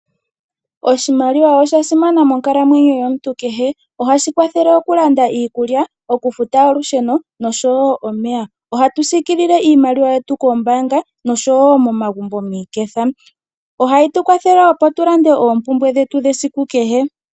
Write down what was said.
Oshimaliwa oshasimana monkalamwenyo yomuntu nkehe. Ohashi kwathele okulanda iikulya, okufuta olushune oshowo omeya. Ohaku siikilile iimaliwa yetu kokoombaanga oshowo momagumbo miiketha. Ohayi tu kwathele opo tulande oompumbwe dhetu dhesiku kehe